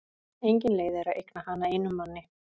Engin leið er að eigna hana einum manni.